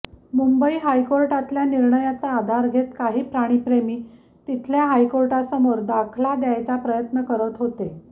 मुंबई हायकोर्टातल्या निर्णयाचा आधार घेत काही प्राणीप्रेमी तिथल्या हायकोर्टासमोर दाखला द्यायचा प्रयत्न करत होते